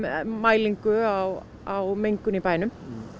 mælingar á á mengun í bænum